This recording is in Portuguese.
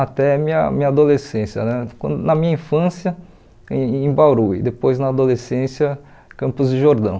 até minha minha adolescência né, quando na minha infância em em Bauru e depois na adolescência Campos de Jordão.